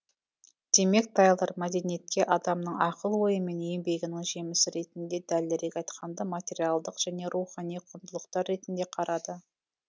демек тайлор мәдениетке адамның ақыл ойы мен еңбегінің жемісі ретінде дәлірек айтқанда материалдық және рухани құндылықтар ретінде қарады